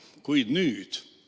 Kuid nüüd?